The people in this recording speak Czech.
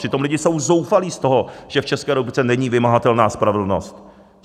Přitom lidé jsou zoufalí z toho, že v České republice není vymahatelná spravedlnost.